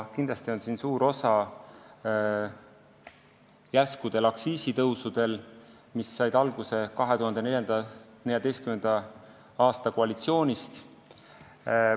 Kindlasti on siin suur osa järskudel aktsiisitõusudel, mis said alguse 2014. aasta koalitsiooni otsustest.